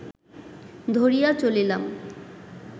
ধরিয়া চলিলাম